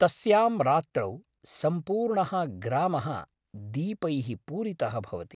तस्यां रात्रौ सम्पूर्णः ग्रामः दीपैः पूरितः भवति।